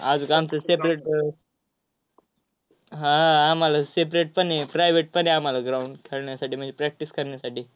आज separate अह हा आम्हाला separate पण आहे, private पण आहे आम्हाला ground खेळण्यासाठी, म्हणजे practice करण्यासाठी.